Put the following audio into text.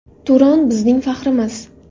Turan – bizning faxrimiz.